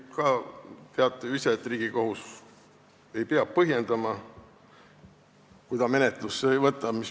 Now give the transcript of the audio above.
Teate ju ise, et Riigikohus ei pea põhjendama, kui ta menetlusse ei võta.